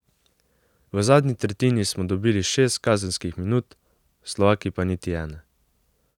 V zadnji tretjini smo dobili šest kazenskih minut, Slovaki pa niti ene.